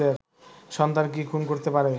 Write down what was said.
সন্তান কি খুন করতে পারে